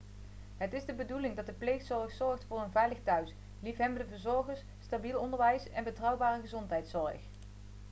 het is de bedoeling dat de pleegzorg zorgt voor een veilig thuis liefhebbende verzorgers stabiel onderwijs en betrouwbare gezondheidszorg